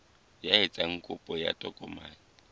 ya etsang kopo ya tokomane